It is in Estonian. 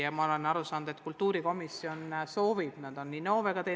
Ja ma olen aru saanud, et kultuurikomisjon soovib seda arutada teatud aspektist.